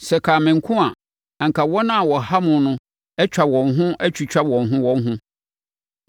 Sɛ ɛkaa me nko a, anka wɔn a wɔha mo no atwa wɔn ho atwitwa wɔn ho wɔn ho.